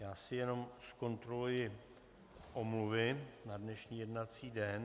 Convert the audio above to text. Já si jenom zkontroluji omluvy na dnešní jednací den...